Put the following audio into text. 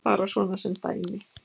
Bara svona sem dæmi.